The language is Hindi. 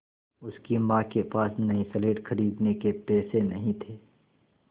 उसकी माँ के पास नई स्लेट खरीदने के पैसे नहीं थे